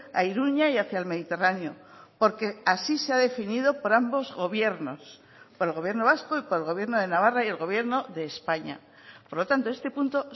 a iruña y hacia el mediterráneo porque así se ha definido por ambos gobiernos por el gobierno vasco y por el gobierno de navarra y el gobierno de españa por lo tanto este punto